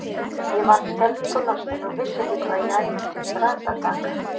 Ég varð skelfingu lostin og vissi ekki hvað ég ætti til bragðs að taka.